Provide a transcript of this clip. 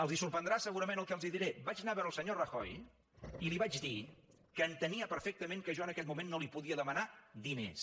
els sorprendrà segurament el que els diré vaig anar a veure el senyor rajoy i li vaig dir que entenia perfectament que jo en aquell moment no li podia demanar diners